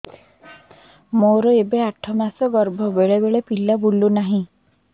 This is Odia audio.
ମୋର ଏବେ ଆଠ ମାସ ଗର୍ଭ ବେଳେ ବେଳେ ପିଲା ବୁଲୁ ନାହିଁ